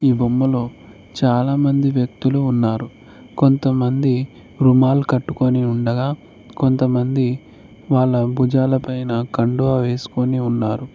ఈ బొమ్మలో చాలామంది వ్యక్తులు ఉన్నారు కొంతమంది రుమాల్ కట్టుకొని ఉండగా కొంతమంది వాళ్ళ భుజాలపైన కండువా వేసుకొని ఉన్నారు.